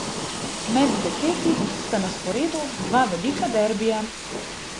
Med dekleti sta na sporedu dva velika derbija.